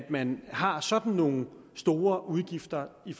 man har sådan nogle store udgifter i